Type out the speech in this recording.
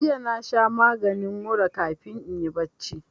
Jiya na sha maginin mura kafin inyi barci